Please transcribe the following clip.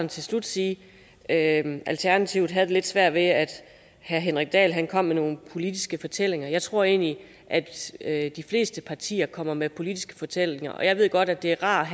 til slut sige at alternativet havde det lidt svært med at herre henrik dahl kom med nogle politiske fortællinger jeg tror egentlig at at de fleste partier kommer med politiske fortællinger og jeg ved godt at det er rart